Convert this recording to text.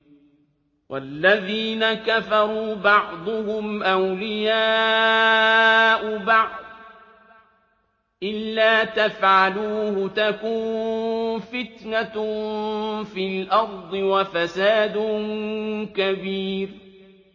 وَالَّذِينَ كَفَرُوا بَعْضُهُمْ أَوْلِيَاءُ بَعْضٍ ۚ إِلَّا تَفْعَلُوهُ تَكُن فِتْنَةٌ فِي الْأَرْضِ وَفَسَادٌ كَبِيرٌ